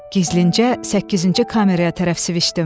Gizlincə səkkizinci kameraya tərəf sviçdim.